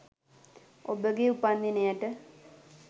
ඔබගේ උපන් දිනයට